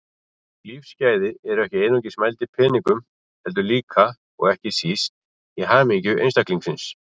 Lífsgæði eru ekki einungis mæld í peningum heldur líka, og ekki síst, í hamingju einstaklingsins.